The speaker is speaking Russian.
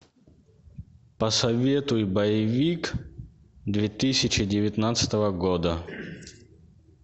посоветуй боевик две тысячи девятнадцатого года